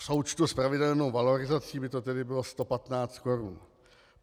V součtu s pravidelnou valorizací by to tedy bylo 115 korun.